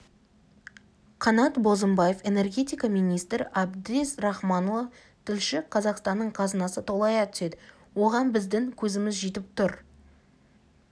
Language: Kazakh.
қанат бозымбаев энергетика министрі әбдез рахманұлы тілші қазақстанның қазынасы толая түседі оған біздің көзіміз жетіп тұр